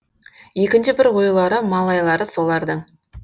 екінші бір ойлары малайлары солардың